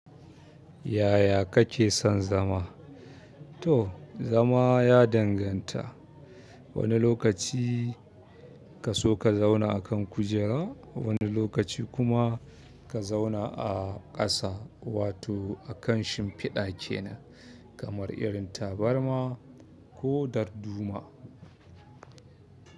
Yaya kake san zama to, zama ya danganta. Wani lokaci ka so ka zauna a kan kujera, wani lokaci kuma ka zauna a ƙasa wato a kan shimfiɗa kena kamar irin tabarma ko darduma.